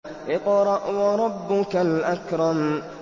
اقْرَأْ وَرَبُّكَ الْأَكْرَمُ